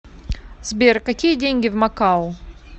сбер какие деньги в макао